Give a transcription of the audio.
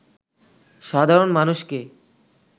সাধারণ মানুষকে